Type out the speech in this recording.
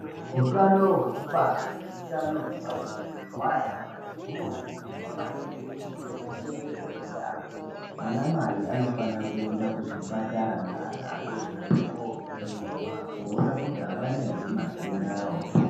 Utano hweku bara ne utano hwepa bonde hwana mai huno kurudzirwa maningi kuti hu chengetedzwe yamho ana mai anofanira kuenda ku zvipatara ne ana adodori ko vhenekwa koona kuti avana ere matenda wo.